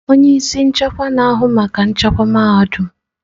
Onye isi nchekwa na-ahụ maka nchekwa mahadum.